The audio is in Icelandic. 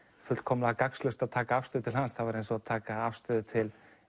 fullkomlega gagnslaust að taka afstöðu til hans það væri eins og að taka afstöðu til